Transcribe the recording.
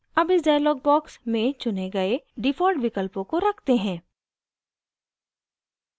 अब इस dialog box में चुने गए default विकल्पों को रखते हैं